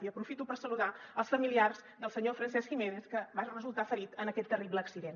i aprofito per saludar els familiars del senyor francesc jiménez que va resultar ferit en aquest ter·rible accident